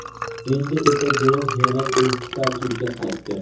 Endi esa guruh yana eski tarkibga qaytdi.